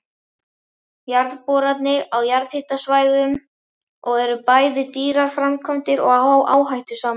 Jarðboranir á jarðhitasvæðum eru bæði dýrar framkvæmdir og áhættusamar.